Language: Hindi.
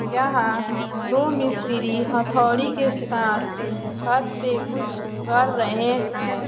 यहाँ दो मिस्त्री हथोड़ी के साथ छत पे कुछ कर रहे हैं।